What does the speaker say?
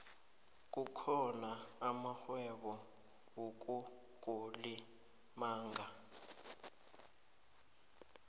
kukhona amarhwebo yokukulimaga